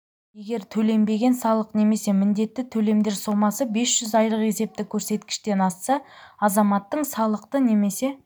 егер төленбеген салық немесе міндетті төлемдер сомасы бес жүз айлық есептік көрсеткіштен асса азаматтың салықты немесе